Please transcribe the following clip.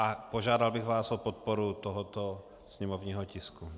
A požádal bych vás o podporu tohoto sněmovního tisku.